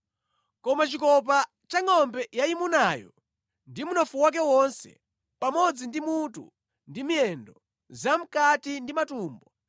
Koma chikopa cha ngʼombe yayimunayo ndi mnofu wake wonse, pamodzi ndi mutu ndi miyendo, zamʼkati ndi matumbo,